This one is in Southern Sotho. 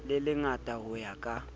le lengata ho ya ka